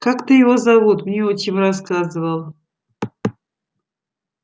как-то его зовут мне отчим рассказывал